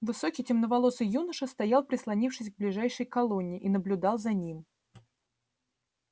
высокий темноволосый юноша стоял прислонившись к ближайшей колонне и наблюдал за ним